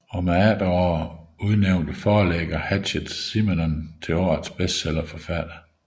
Om efteråret udnævnte forlæggeren Hachette Simenon til årets bestsellerforfatter